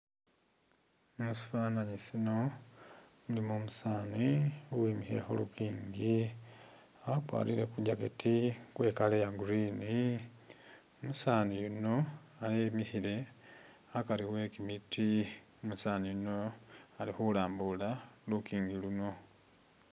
Musifananyi sino ilimo umusaani uwimikhile khulukingi akwalire Ku jacket kwe'color ya green, umusaani yuno emikhile akari wekimiiti, umusaani yuno ali khulambula lukingi luno